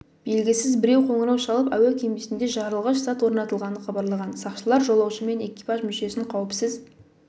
белгісіз біреу қоңырау шалып әуе кемесінде жарылғыш зат орнатылғанын хабарлаған сақшылар жолаушы мен экипаж мүшесін қауіпсіз